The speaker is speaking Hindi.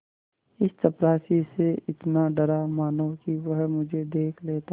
इस चपरासी से इतना डरा मानो कि वह मुझे देख लेता